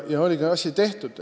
Ja oligi asi tehtud.